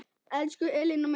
Elsku Elín Helga.